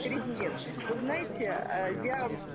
президент вы знаете я